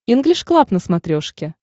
инглиш клаб на смотрешке